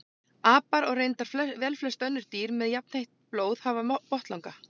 Apar og reyndar velflest önnur dýr með jafnheitt blóð hafa botnlanga.